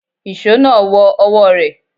Ìṣó náà wọ ọwọ́ rẹ̀.